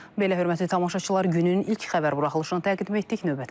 Belə hörmətli tamaşaçılar, günün ilk xəbər buraxılışını təqdim etdik.